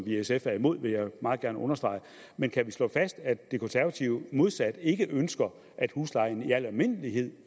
i sf er imod vil jeg meget gerne understrege men kan vi slå fast at de konservative modsat ikke ønsker at huslejen i al almindelighed